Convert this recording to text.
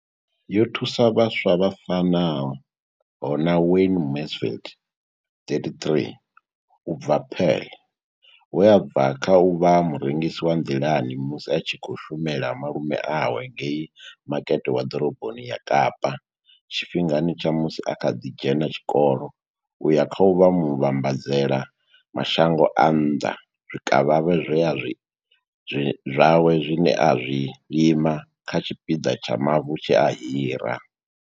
Yo thusa vhaswa vha fanaho na Wayne Mansfield, 33, u bva Paarl, we a bva kha u vha murengisi wa nḓilani musi a tshi khou shumela malume awe ngei Makete wa Ḓoroboni ya Kapa, tshifhingani tsha musi a kha ḓi dzhena tshikolo u ya kha u vha muvhambadzela mashango a nnḓa zwikavhavhe zwawe zwine a zwi lima kha tshipiḓa tsha mavu tshe a hira.